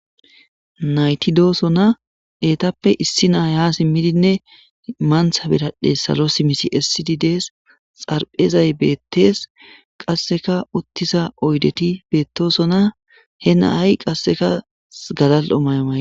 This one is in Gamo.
Naytidooso na eetappe issi naaya simmidinne mantha birahdhe salo simisi essidi dees xarphezay beettees qasseka uttisa oydeti beettoosona he naay qasseka galal'o mayo may.